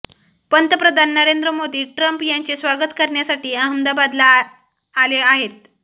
पंतप्रधान नरेंद्र मोदी ट्रम्प यांचे स्वागत करण्यासाठी अहमदाबादला आहे आहेत